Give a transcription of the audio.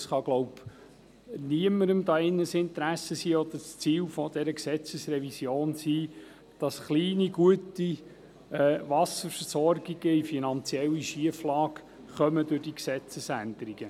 Es ist ja nicht das Ziel dieser Gesetzesrevision, kleine, gut funktionierende Wasserversorgungen in eine finanzielle Schieflage zu bringen.